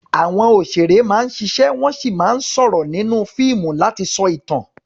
Àwọn òṣèré máa ń ṣiṣẹ́ wọ́n sì máa ń sọ̀rọ̀ nínú fíìmù láti sọ ìtàn.